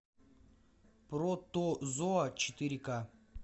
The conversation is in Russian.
протозоа четыре ка